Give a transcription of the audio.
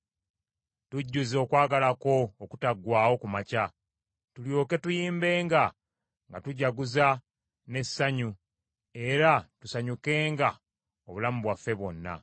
Tujjuze okwagala kwo okutaggwaawo ku makya, tulyoke tuyimbenga nga tujaguza n’essanyu era tusanyukenga obulamu bwaffe bwonna.